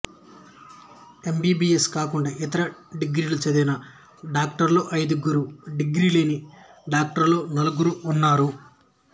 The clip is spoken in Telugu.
ఎమ్బీబీయెస్ కాకుండా ఇతర డిగ్రీలు చదివిన డాక్టర్లు ఐదుగురు డిగ్రీ లేని డాక్టర్లు నలుగురు ఉన్నారు